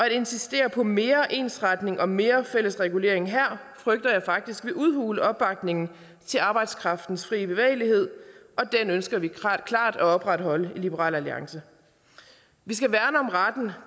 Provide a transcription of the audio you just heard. insistere på mere ensretning og mere fælles regulering her frygter jeg faktisk vil udhule opbakningen til arbejdskraftens fri bevægelighed og den ønsker vi klart at opretholde i liberal alliance vi skal værne om retten